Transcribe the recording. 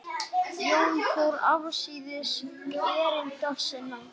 Jón fór afsíðis erinda sinna.